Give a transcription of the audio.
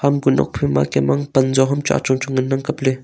ham kuh nokphaima kem ang panjo ham cho achong chong ngan ang kapley.